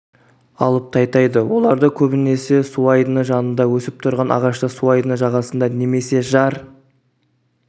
алып тайтайды оларды көбінесе суайдыны жанында өсіп тұрған ағашта суайдыны жағасында немесе жар